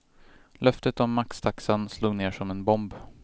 Löftet om maxtaxan slog ner som en bomb.